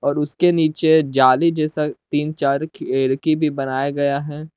और उसके नीचे जाली जैसा तीन चार खिड़की भी बनाया गया है।